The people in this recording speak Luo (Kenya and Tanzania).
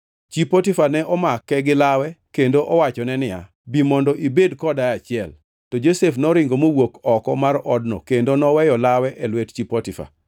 Chi Potifa ne omake gilawe kendo owachone niya, “Bi mondo ibed koda e achiel!” To Josef noringo mowuok oko mar odno kendo noweyo lawe e lwet chi Potifa.